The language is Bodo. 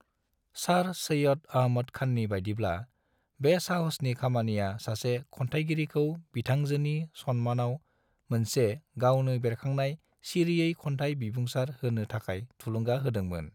सर सैयद अहमद खाननि बायदिब्ला, बे साहसनि खामानिया सासे खन्थायगिरिखौ बिथांजोनि सनमानाव मोनसे गावनो बेरखांनाय सिरिनै खन्थाय बिबुंसार होनो थाखाय थुलुंगा होदों मोन।